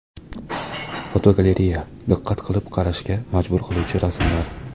Fotogalereya: Diqqat qilib qarashga majbur qiluvchi rasmlar.